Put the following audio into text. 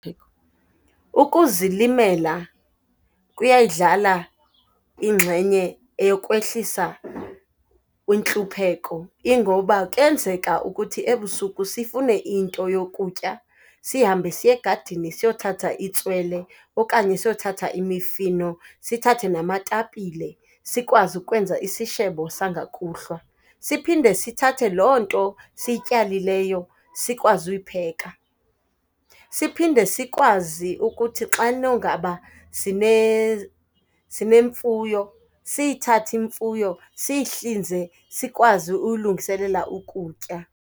Ukuzilimela kuyayidlala ingxenye eyokwehlisa kwintlupheko. Ingoba kuyenzeka ukuthi ebusuku sifune into yokutya, sihambe siye egadini siyothatha itswele okanye siyothatha imifino, sithathe namatapile sikwazi ukwenza isishebo sangokuhlwa. Siphinde sithathe loo nto siyityalileyo sikwazi uyipheka. Siphinde sikwazi ukuthi xano ngaba sinemfuyo, siyithathe imfuyo siyihlinze sikwazi uyilungiselela ukutya.